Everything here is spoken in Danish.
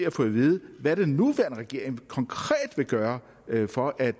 at få at vide hvad den nuværende regering konkret vil gøre for at